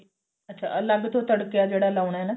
ਅੱਛਾ ਅਲੱਗ ਤੋਂ ਤੜਕਾ ਜਿਹੜਾ ਲਾਉਣਾ ਨਾ